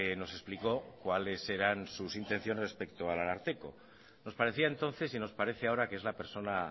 nos explicó cuáles eran sus intenciones respecto al ararteko nos parecía entonces y nos parece ahora que es la persona